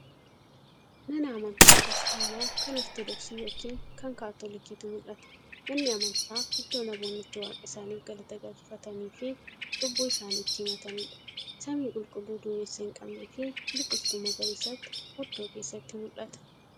Mana amantaa Kiristaanaa kan Ortoodoksii yookiin kan Kaatoolikiitu mul'ata. Manni amantaa iddoo namoonni itti waaqa isaaniif galata galfataniifi cubbuu isaanii itti himataniidha. Samii qulqulluu duumessa hin qabneefi biiqiltuu magariisatu oddoo keessatti mul'ata.